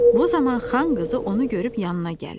Bu zaman xan qızı onu görüb yanına gəlir.